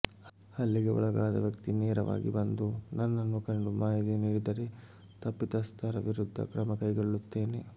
ಹಲ್ಲೆಗೆ ಒಳಗಾದ ವ್ಯಕ್ತಿ ನೇರವಾಗಿ ಬಂದು ನನ್ನನ್ನು ಕಂಡು ಮಾಹಿತಿ ನೀಡಿದರೆ ತಪ್ಪಿತಸ್ಥರ ವಿರುದ್ಧ ಕ್ರಮ ಕೈಗೊಳ್ಳುತ್ತೇನೆ